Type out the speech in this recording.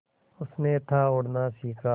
उसने था उड़ना सिखा